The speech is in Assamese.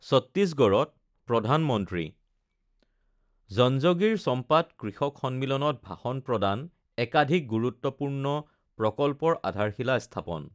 চত্তীশগড়ত প্ৰধানমন্ত্ৰীঃ জঞ্জগিৰ চম্পাত কৃষক সন্মিলনত ভাষণ প্ৰদান একাধিক গুৰুত্বপূৰ্ণ প্ৰকল্পৰ আধাৰশিলা স্থাপন